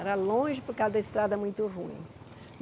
Era longe por causa da estrada muito ruim.